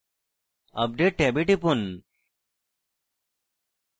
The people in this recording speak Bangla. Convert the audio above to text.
update ট্যাবে টিপুন